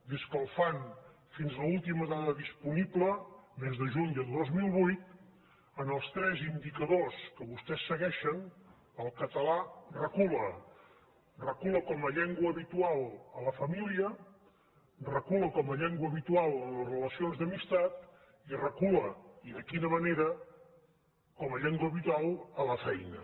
des que el fan fins a l’última dada disponible mes de juny del dos mil vuit en els tres indicadors que vostès segueixen el català recula recula com a llengua habitual a la família recula com a llengua habitual en les relacions d’amistat i recula i de quina manera com a llengua habitual a la feina